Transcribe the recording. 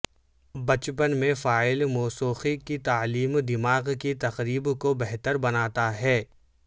بچپن میں فعال موسیقی کی تعلیم دماغ کی تقریب کو بہتر بناتا ہے